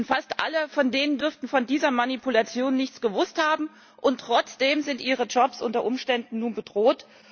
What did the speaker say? Fast alle von denen dürften von dieser Manipulation nichts gewusst haben, und trotzdem sind ihre Jobs unter Umständen nun bedroht.